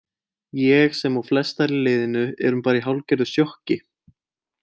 Ég sem og flestar í liðinu erum bara í hálfgerðu sjokki.